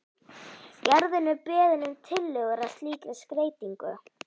Gerður er beðin um tillögur að slíkri skreytingu.